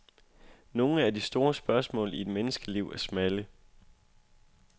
Nogle af de store spørgsmål i et menneskeliv er smalle.